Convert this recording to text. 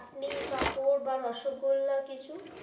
চাটনি পাঁপড় বা রসোগোল্লা কিছু.